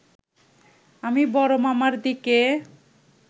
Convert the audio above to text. আমি বড় মামার দিকে